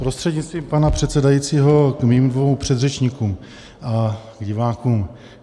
Prostřednictvím pana předsedajícího k mým dvěma předřečníkům a k divákům.